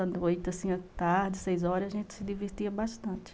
À noite, assim, à tarde, às seis horas, a gente se divertia bastante.